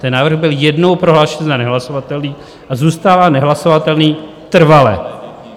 Ten návrh byl jednou prohlášen za nehlasovatelný a zůstává nehlasovatelný trvale.